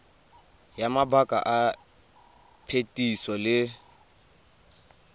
ya mabaka a phetiso le